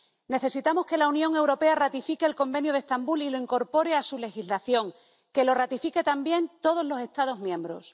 Necesitamos que la Unión Europea ratifique el Convenio de Estambul y lo incorpore a su legislación, que lo ratifiquen también todos los Estados miembros.